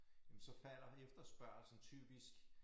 Jamen så falder efterspørgslen typisk